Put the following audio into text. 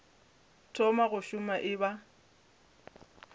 thoma go šoma e ba